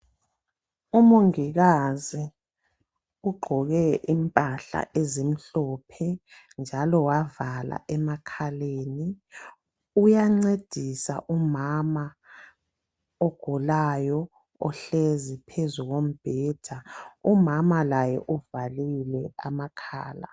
Umongikazi ugqoke impahla ezimhlophe njalo wavala emakhaleni uyancedisa umama ogulayo ohlezi phezu kombheda. Umama laye uvalile amakhala.